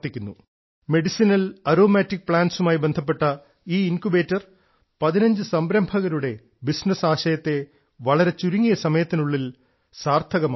medicinal aromatic പ്ലാന്റുകളുമായി ബന്ധപ്പെട്ട ഈ ഇൻക്യുബേറ്റർ 15 സംരംഭകരുടെ ബിസിനസ് ആശയത്തെ വളരെ ചുരുങ്ങിയ സമയത്തിനുള്ളിൽ സാർത്ഥകമാക്കി